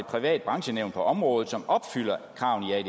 privat branchenævn på området som opfylder kravene i